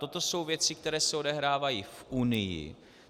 Toto jsou věci, které se odehrávají v Unii.